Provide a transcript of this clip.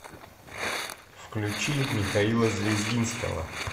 включи михаила звездинского